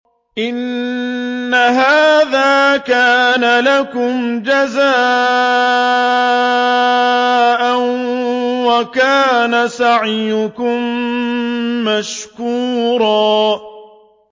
إِنَّ هَٰذَا كَانَ لَكُمْ جَزَاءً وَكَانَ سَعْيُكُم مَّشْكُورًا